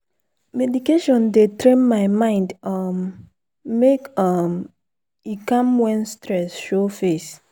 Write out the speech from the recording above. meditation dey train my mind um make um e calm when stress show face.